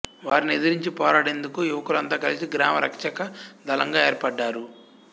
వారిని ఎదిరించి పోరాడేందుకు యువకులంతా కలిసి గ్రామ రక్షక దళంగా ఏర్పడ్డారు